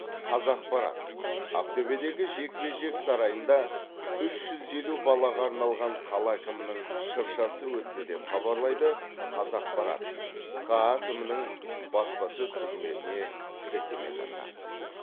қазапарат ақтөбедегі жекпе жек сарайында үш жүз елу балаға арналған қала әкімінің шыршасы өтті деп хабарлайды қазақпарат хаа әкімнің баспасөз қызметіне сілтеме жасап